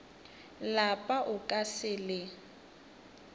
lapa o ka se le